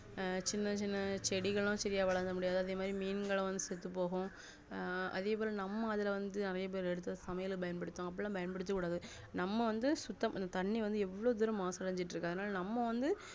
அஹ் சின்ன சின்ன செடிகலும் சரியாவளராமுடியாது அதேமாதிரி மீன்களும் செத்து போகும் அஹ் அதே போல நம்ம அதுல வந்து நெறைய பேரு சமையலுக்கு பண்யன்படுத்துவாங்க அப்டிலாம் பயன்படுத்த கூடாது நம்ம வந்து சுத்ததண்ணி வந்து எவ்ளோ மாசு அடைஞ்சுகிட்டுஇருக்கு அதுனாலநம்ம வந்து